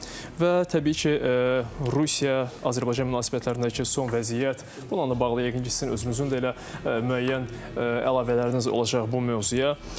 Və təbii ki, Rusiya-Azərbaycan münasibətlərindəki son vəziyyət, bununla da bağlı yəqin ki, sizin özünüzün də elə müəyyən əlavələriniz olacaq bu mövzuya.